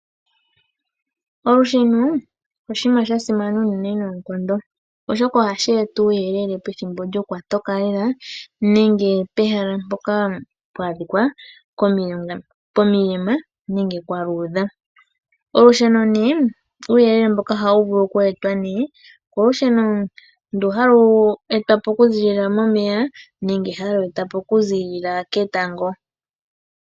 Olusheno oshinima sha simana unene noonkondo oshoka ohashi eta uuyelele pethimbo lyokwatoka lela nenge pehala mpoka mpwa adhika komilema nenge kwaluudha . Uuyelele mboka ohawu vulu oku etwa new kolusheno ndu halu etwapo okuziilila momeya nenge halu etwapo okuziilila ketango .